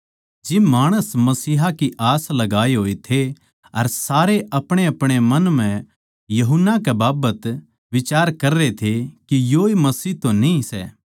जिब माणस मसीहा की आस लगाये होए थे अर सारे अपणेअपणे मन म्ह यूहन्ना के बाबत बिचार कररे थे के योए मसीह तो न्ही सै